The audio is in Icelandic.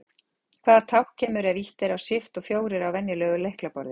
Hvaða tákn kemur ef ýtt er á Shift og fjórir á venjulegu lyklaborði?